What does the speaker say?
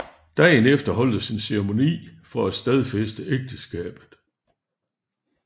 Dagen efter holdtes en ceremoni for at stadfæste ægteskabet